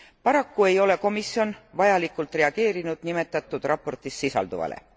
Paraku ei ole komisjon vajalikult reageerinud nimetatud raportis sisalduvale.